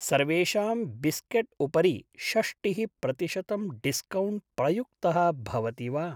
सर्वेषां बिस्केट् उपरि षष्टिः प्रतिशतं डिस्कौण्ट् प्रयुक्तः भवति वा?